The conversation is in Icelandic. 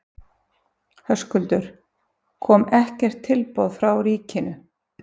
Höskuldur: Kom ekkert tilboð frá ríkinu?